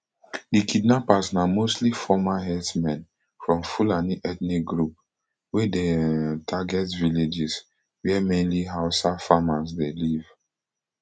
di kidnappers na mostly former herdsmen from fulani ethnic group wey dey um target villages wia mainly hausa farmers dey live